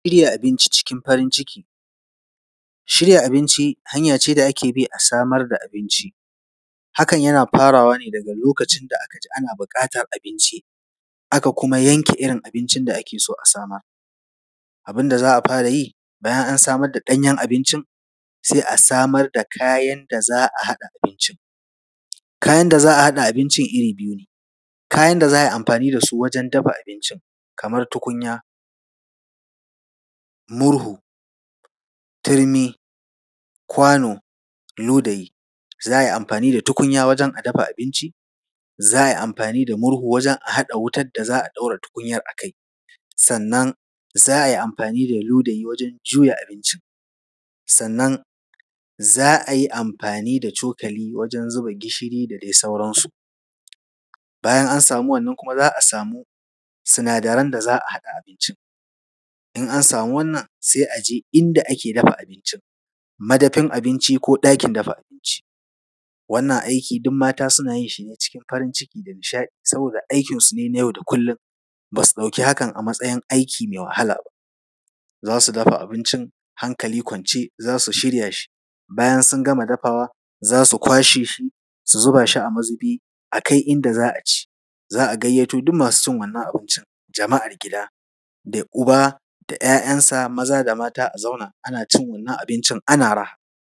Shirya abinci cikin farin ciki. Shirya abinci hanya ce da ake bi a samar da abinci. Hakan yana farawa ne daga lokacin da aka ji ana buƙatar abinci, aka kuma yanke irin abincin da ake so a samar. Abin da za a fara yi bayan an samar da ɗanyen abincin, sai a samar da kayan da za a haɗa abincin. Kayan da za a haɗa abincin iri biyu ne: kayan da za a yi amfani da su wajen dafa abincin kamar tukunya, murhu, turmi, kwano, ludayi. Za a yi amfani da tukunya wajen a dafa abinci, za a yi amfani da murhu wajen a haɗa wutar da za a ɗaura wutar a kai, sannan za a yi amfani da ludayi wajen juya abincin, sannan za a yi amfani da cokali wajen zuba gishiri da dai sauransu. Bayan an samu wannan kuma, za a samu sinadaran da za a haɗa abincin. In an samu wannan sai a je inda ake dafa abincin, madafin abinci ko ɗakin dafa abinci. Wannan aiki, duk mata suna yin shi ne cikin farin ciki da nishaɗi saboda aikinsu ne na yau da kullum, ba su ɗauki hakan a matsayin aiki mai wahala ba. Za su dafa abincin, hankali kwance, za su shirya shi, bayan sun gama dafawa, za su kwashe shi su zuba shi a mazubi a kai inda za a ci. Za a gayyato duk masu son wannan abincin, jama’ar gida, da uba da ‘ya’yansa maza da mata a zauna, ana cin wannan abincin ana raha.